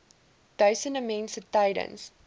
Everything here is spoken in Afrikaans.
duisende mense tydens